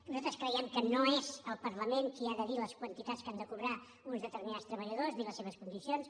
nosaltres creiem que no és el parlament qui ha de dir les quantitats que han de cobrar uns determinats treballadors ni les seves condicions